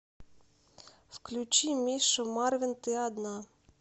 включи миша марвин ты одна